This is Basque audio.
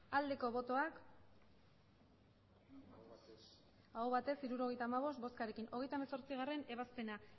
aldeko botoak emandako botoak hirurogeita hamabost bai hirurogeita hamabost aho batez hirurogeita hamabost boskarekin hogeita hemezortzigarrena ebazpena